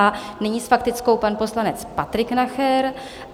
A nyní s faktickou pan poslanec Patrik Nacher.